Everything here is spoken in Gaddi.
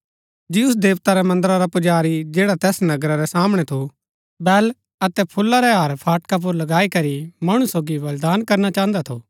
ज्यूस देवता रै मन्दरा रा पुजारी जैडा तैस नगरा रै सामणै थु बैल अतै फूला रै हार फाटका पुर लगाई करी मणु सोगी बलिदान करना चाहन्दा थु